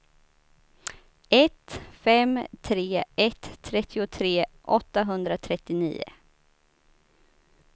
ett fem tre ett trettiotre åttahundratrettionio